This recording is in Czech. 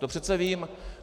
To přece vím.